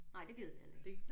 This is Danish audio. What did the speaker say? Nej det gider vi heller ikke